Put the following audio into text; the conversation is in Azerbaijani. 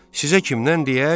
Sizə kimdən deyək?